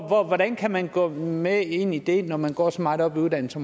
hvordan kan man gå med ind i det når man går så meget op i uddannelse